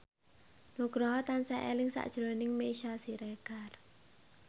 Nugroho tansah eling sakjroning Meisya Siregar